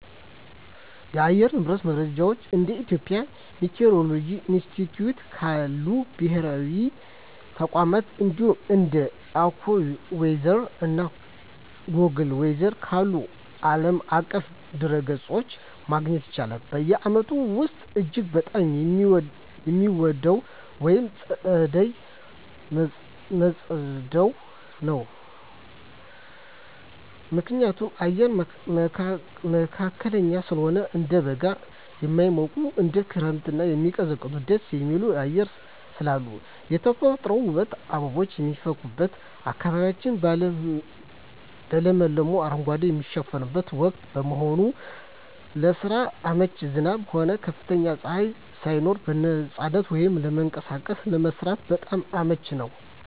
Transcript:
የአየር ንብረት መረጃን እንደ የኢትዮጵያ ሚቲዎሮሎጂ ኢንስቲትዩት ካሉ ብሔራዊ ተቋማት፣ እንዲሁም እንደ AccuWeather እና Google Weather ካሉ ዓለም አቀፍ ድረ-ገጾች ማግኘት ይቻላል። በዓመቱ ውስጥ እጅግ በጣም የምወደው ወቅት ጸደይ (መጸው) ነው። ምክንያቱም፦ አየሩ መካከለኛ ስለሆነ፦ እንደ በጋ የማይሞቅ፣ እንደ ክረምትም የማይቀዘቅዝ ደስ የሚል አየር ስላለው። የተፈጥሮ ውበት፦ አበቦች የሚፈኩበትና አካባቢው በለመለመ አረንጓዴ የሚሸፈንበት ወቅት በመሆኑ። ለስራ አመቺነት፦ ዝናብም ሆነ ከፍተኛ ፀሐይ ሳይኖር በነፃነት ወጥቶ ለመንቀሳቀስና ለመስራት በጣም አመቺ ነው።